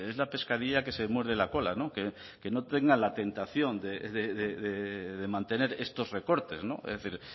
la pescadilla que se muerde la cola no que no tengan la tentación de mantener estos recortes es decir